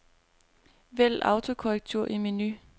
Vælg autokorrektur i menu.